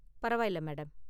பரவாயில்ல, மேடம்.